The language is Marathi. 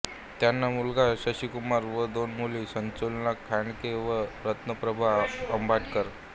त्यांना मुलगा शशिकुमार व दोन मुली सुलोचना खांडके व रत्नप्रभा अंबटकर